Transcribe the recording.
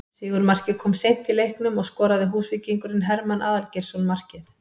Sigurmarkið kom seint í leiknum og skoraði Húsvíkingurinn Hermann Aðalgeirsson markið